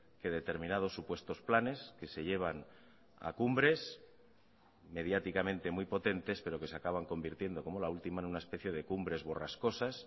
que determinados supuestos planes que se llevan a cumbres mediáticamente muy potentes pero que se acaban convirtiendo como la última en una especie de cumbres borrascosas